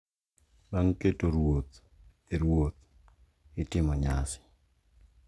Bang’ keto ruoth e ruoth, itimo nyasi